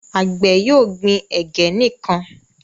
Àgbè yóò gbìn ẹgẹ nìkàn.